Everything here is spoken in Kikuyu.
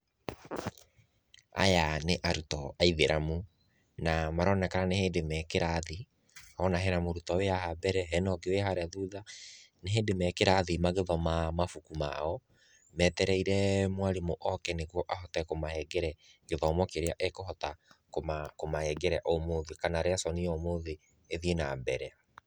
Aya nĩ arutwo a ithĩramu, na maronekana nĩ hĩndĩ me kĩrathi, nona he mũrutwo wĩ haha mbere, he na ũngĩ wĩ harĩa thutha, nĩ hĩndĩ me kĩrathi magĩthoma mabuku mao, metereire mwarimũ oke nĩguo ahote kũmanengere gĩthomo kĩrĩa ekũhota kũmanengere ũmũthĩ, kana resoni ya ũmũthĩ ĩthiĩ na mbere.